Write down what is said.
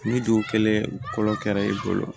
Ni du kelen kolo kɛra i bolo